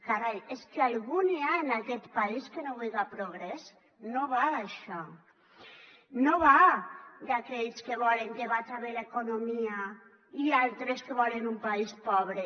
carai és que algú n’hi ha en aquest país que no vullga progrés no va d’això no va d’aquells que volen que vaja bé l’economia i altres que volen un país pobre